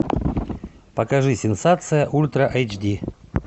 покажи сенсация ультра эйч ди